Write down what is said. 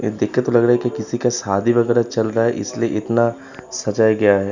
ये देख के तो लग रहा है कि किसी का शादी वगेरा चल रहा है। इसलिए इतना सजाया गया है।